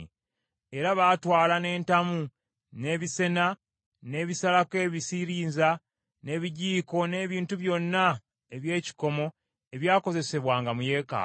Era baatwala n’entamu, n’ebisena, n’ebisalako ebisirinza, n’ebijiiko n’ebintu byonna eby’ekikomo ebyakozesebwanga mu yeekaalu.